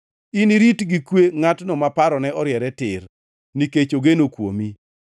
Inirit gi kwe ngʼatno ma parone oriere tir, nikech ogeno kuomi.